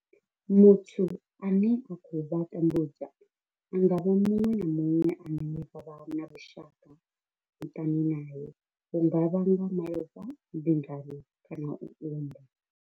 Muthu ane a khou vha tambudza a nga vha muṅwe na muṅwe ane vha vha na vhushaka muṱani nae hu nga vha nga malofha, mbingano kana u unḓa.